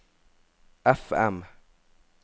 FM